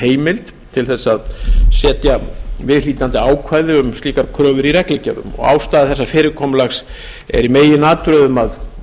heimild til að setja viðhlítandi ákvæði um slíkar kröfur í reglugerðum ástæða þessa fyrirkomulags er í meginatriðum að